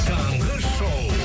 таңғы шоу